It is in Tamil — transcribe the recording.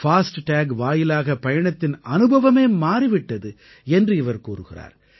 பாஸ்ட் டாக் வாயிலாக பயணத்தின் அனுபவமே மாறி விட்டது என்று இவர் கூறுகிறார்